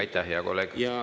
Aitäh, hea kolleeg!